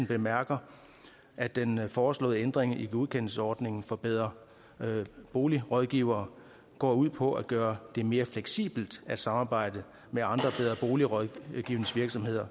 bemærker at den foreslåede ændring i godkendelsesordningen for bedre bolig rådgivere går ud på at gøre det mere fleksibelt at samarbejde med andre bedre bolig rådgivningsvirksomheder